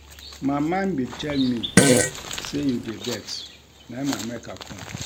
My mind bin tell me sey you dey vex na im make I com.